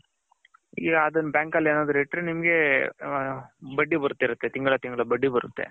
ಈಗ ಅದುನ್ನ ನೀವು bank ಅಲ್ಲಿ ಏನನ ಇಟ್ಟರೆ ನಿಮ್ಮಗೆ ಬಡ್ಡಿ ಬರ್ತಿರುತ್ತೆ ತಿಂಗಳ ತಿಂಗಳ ಬಡ್ಡಿ ಬರುತ್ತೆ.